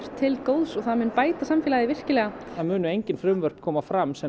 til góðs og mun bæta samfélagið virkilega það munu engin frumvörp koma fram sem